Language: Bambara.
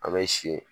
An bɛ si